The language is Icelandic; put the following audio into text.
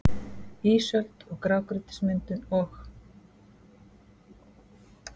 ÍSÖLD- GRÁGRÝTISMYNDUN OG